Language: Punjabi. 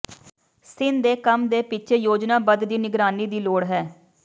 ਸੀਨ ਦੇ ਕੰਮ ਦੇ ਪਿੱਛੇ ਯੋਜਨਾਬੱਧ ਦੀ ਨਿਗਰਾਨੀ ਦੀ ਲੋੜ ਹੈ